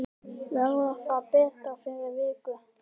Verður það betra fyrir vikið?